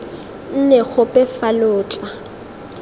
nne gope fa lo tla